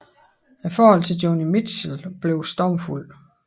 Forholdet til Joni Mitchell blev stormfuldt